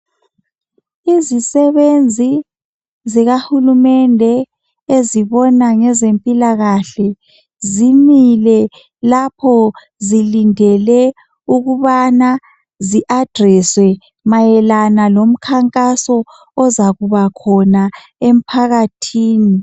Izisebenzi zikahulumende ezibona ngezempilakahle zimile lapho zilindele ukubana zi adreswe mayelana lomkhankaso ozakuba khona emphakathini.